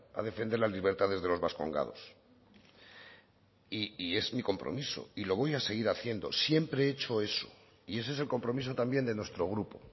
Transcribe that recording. a defender las libertades de los vascongados y es mi compromiso y lo voy a seguir haciendo siempre he hecho eso y ese es el compromiso también de nuestro grupo